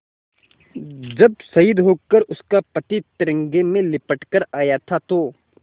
जब शहीद होकर उसका पति तिरंगे में लिपट कर आया था तो